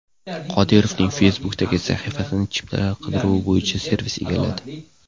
Qodirovning Facebook’dagi sahifasini chiptalar qidiruvi bo‘yicha servis egalladi.